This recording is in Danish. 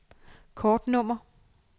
kortnummer